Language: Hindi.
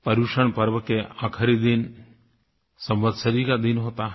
पर्युषण पर्व के आख़िरी दिन संवत्सरी का दिन होता है